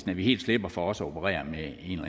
vi helt slipper for også at operere med